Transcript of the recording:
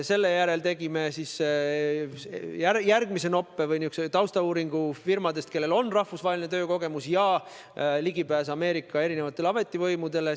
Seejärel tegime järgmise noppe või taustauuringu firmade kohta, kellel on rahvusvaheline töökogemus ja ligipääs erinevatele Ameerika ametivõimudele.